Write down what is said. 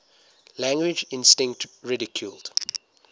language instinct ridiculed